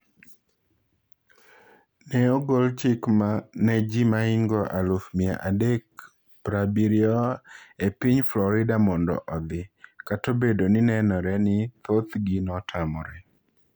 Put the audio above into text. Ne ogol chik ne ji mahingo aluf mia adek prabirio e piny Florida mondo odhi, kata obedo ni nenore ni thothgi notamre.